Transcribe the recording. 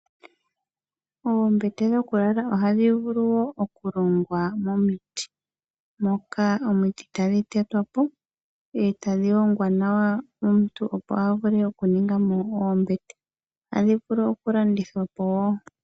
Oombete dhokulala ohadhi vulu wo okulongwa momiti, moka omiti tadhi tetwapo e tadhi hongwa nawa, omuntunopo a vule okuningamo oombete. Ohadhi vulu okulandithwapo wo.